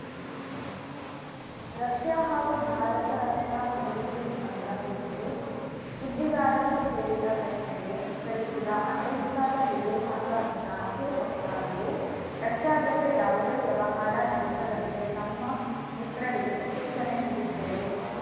Russia ಹಾಗೂ ಭಾರತ ರಕ್ಷಣಾ ಖರೀದಿ ಒಪ್ಪಂದ ಕುರಿತು ಸುದ್ದಿಗಾರರು ಕೇಳಿದ ಪ್ರಶ್ನೆಗೆ ಉತ್ತರಿಸಿದ ಅಮೆರಿಕದ ವಿದೇಶಾಂಗ ಇಲಾಖೆ ವಕ್ತಾರರು ರಷ್ಯಾ ಜತೆ ಯಾವುದೇ ವ್ಯವಹಾರ ನಡೆಸದಂತೆ ತಮ್ಮ ಮಿತ್ರರಿಗೆ ಸೂಚನೆ ನೀಡುತ್ತೇವೆ